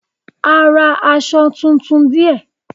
A ra aṣọ tuntun díẹ̀.